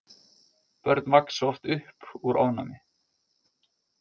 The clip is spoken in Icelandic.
Börn vaxa oft upp úr ofnæmi.